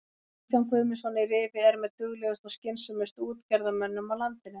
Kristján Guðmundsson í Rifi er með duglegustu og skynsömustu útgerðarmönnum á landinu.